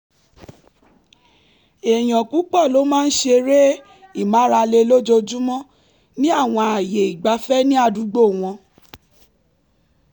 èèyàn púpọ̀ ló máa ń ṣeré ìmárale lójoojúmọ́ ní àwọn ààyè ìgbafẹ́ ní àdúgbò wọn